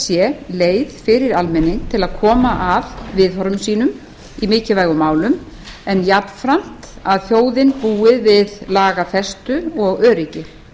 sé leið fyrir almenning til að koma að viðhorfum sínum í mikilvægum málum en jafnframt að þjóðin búi við lagafestu og öryggi